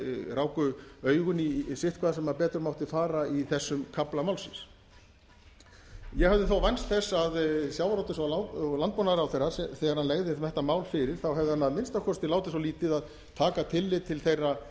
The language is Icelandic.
ráku augun í sitthvað sem betur mátti fara í þessum kafla málsins ég hafði þó vænst þess að sjávarútvegs og landbúnaðarráðherra þegar hann lagði þetta mál fyrir þá hefði hann að minnsta kosti látið svo lítið að taka tillit til þeirra